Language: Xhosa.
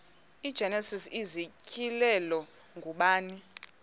igenesis isityhilelo ngubani